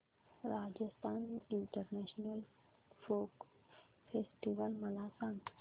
Rajasthan international folk festival मला सांग